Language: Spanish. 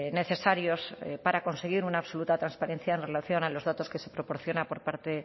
necesarios para conseguir una absoluta transparencia en relación a los datos que se proporciona por parte